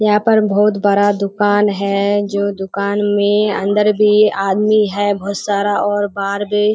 यहाँ पर बहुत बड़ा दुकान है जो दुकान में अंदर भी आदमी है बहुत सारा और बाहर भी --